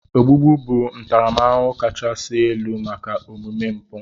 Ogbugbu bụ ntaramahụhụ kachasị elu maka omume mpụ.